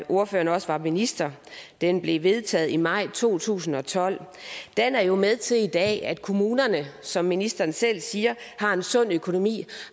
ordføreren også var minister den blev vedtaget i maj to tusind og tolv den er jo med til i dag at at kommunerne som ministeren selv siger har en sund økonomi